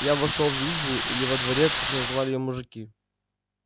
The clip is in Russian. я вошёл в избу или во дворец как называли её мужики